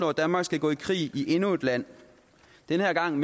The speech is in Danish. at danmark skal gå i krig i endnu et land den her gang